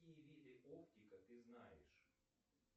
какие виды оптика ты знаешь